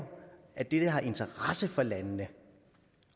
at det der har interesse for landene